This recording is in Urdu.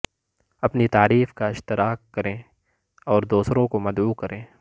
اپنی تعریف کا اشتراک کریں اور دوسروں کو مدعو کریں